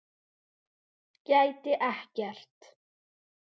Gæti ekkert.